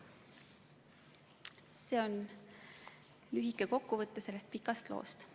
See on lühike kokkuvõte sellest pikast loost.